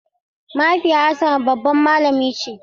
Mahaifiyar Hassan babbar malami ce.